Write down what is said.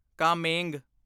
Kameng